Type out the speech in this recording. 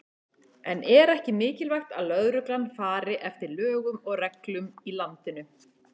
En er ekki mikilvægt að lögreglan fari eftir lögum og reglum í landinu?